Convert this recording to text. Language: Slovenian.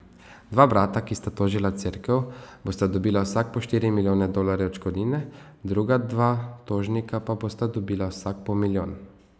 Dva brata, ki sta tožila Cerkev, bosta dobila vsak po štiri milijone dolarjev odškodnine, druga dva tožnika pa bosta dobila vsak po milijon.